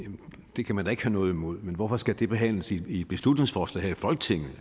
det kan man da ikke have noget imod men hvorfor skal det behandles i et beslutningsforslag i folketinget